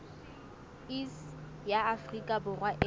iss ya afrika borwa e